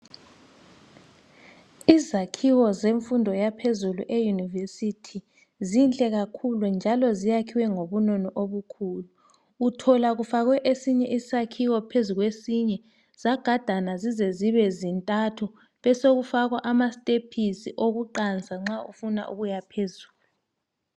Izakhiwo zemfundo yaphezulu eYunivesithi zinhle kakhulu njalo zakhiwe ngobunono obukhulu. Uthola kufakwe esinye isakhiwo phezulu kwesinye zagadana zize zibe zintathu besekufakwa ama sitepisi okuqansa nxa usiyaphezulu.